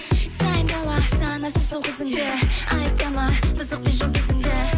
сайын дала санасыз ұл қызыңды айыптама бұзық бір жұлдызыңды